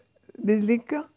við líka